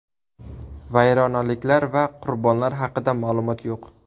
Vayronaliklar va qurbonlar haqida ma’lumot yo‘q.